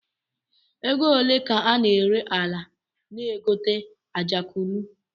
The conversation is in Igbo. Ego ole ka a na-ere ala na geto Ajegunle?